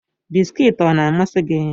Bisikiiti ọ na-amasị gị?